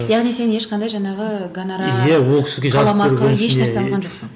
яғни сен ешқандай жаңағы гонорар қаламақы еш нәрсе алған жоқсың